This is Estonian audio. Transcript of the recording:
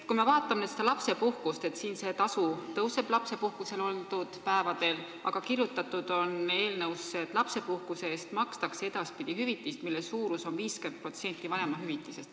Kui me vaatame lapsepuhkust, siis tasu lapsepuhkusel oldud päevade eest kasvab, aga eelnõusse on kirjutatud, et lapsepuhkuse eest makstakse edaspidi hüvitist, mille suurus on 50% vanemahüvitisest.